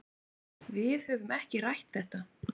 Við höfum ekki rætt þetta.